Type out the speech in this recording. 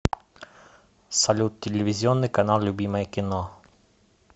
салют телевизионный канал любимое кино